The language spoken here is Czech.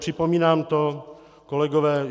Připomínám to, kolegové.